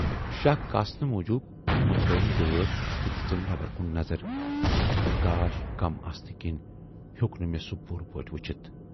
"شَکھ کاسنہٕ موجوٗب مُژرٲوٕم دٲر تہٕ دِژٕم نٮ۪برَ کُن نظر، مگر گاش کَم آسنہٕ کِنۍ ہیوک نہٕ میہ سُہ پوٗرٕ پٲٹھۍ وُچھِتھ۔